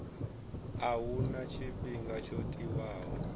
a huna tshifhinga tsho tiwaho